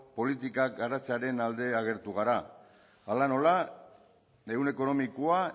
politikak garatzearen alde agertu gara hala nola ehun ekonomikoa